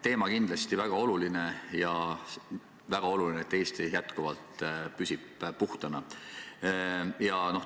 Teema on kindlasti väga oluline ja väga oluline on seegi, et Eesti püsiks jätkuvalt puhtana.